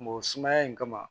Mɔ sumaya in kama